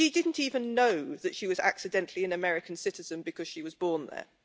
She didn't even know that she was accidentally an American citizen because she was born there.